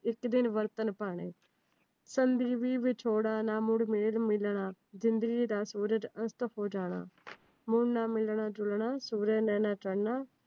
ਇੱਕ ਦਿਨ ਵਰਤਣ ਭਾਣੇ, ਨਾ ਵਿਛੋੜਾ ਨਾ ਨੂਰ ਮਿਲਣਾ, ਜਿੰਦਗੀ ਦਾ ਸੂਰਜ ਅਸਤ ਹੋ ਜਾਣਾ। ਮੁੜ ਨਾ ਮਿਲਣਾ ਜੁਲਣਾ